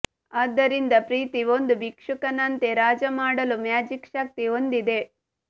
ಆದ್ದರಿಂದ ಪ್ರೀತಿ ಒಂದು ಭಿಕ್ಷುಕನಂತೆ ರಾಜ ಮಾಡಲು ಮ್ಯಾಜಿಕ್ ಶಕ್ತಿ ಹೊಂದಿದೆ